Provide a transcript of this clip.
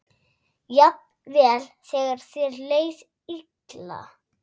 Jafnvel þegar þér leið illa.